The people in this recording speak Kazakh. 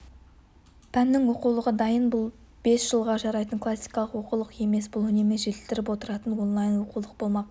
пәннің оқулығы дайын бұл бес жылға жарайтын классикалық оқулық емес бұл үнемі жетілдіріліп отыратын онлайн-оқулық болмақ